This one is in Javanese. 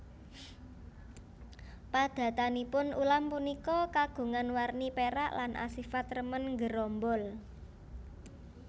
Padatanipun ulam punika kagungan warni pérak lan asifat remen nggerombol